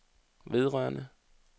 vedrørende